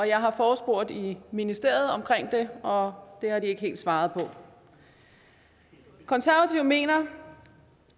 jeg har forespurgt i ministeriet om det og det har de ikke helt svaret på konservative mener